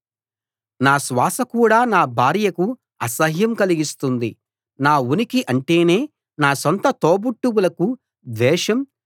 నా శ్వాస కూడా నా భార్యకు అసహ్యం కలిగిస్తుంది నా ఉనికి అంటేనే నా సొంత తోబుట్టువులకు ద్వేషం